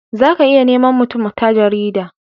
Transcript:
za ka iya nema mutum ta jarida